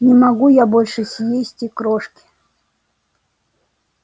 не могу я больше съесть и крошки